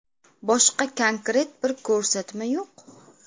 Boshqa konkret bir ko‘rsatma yo‘q.